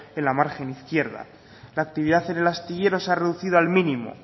en la margen izquierda la actividad en el astillero se ha reducido al mínimo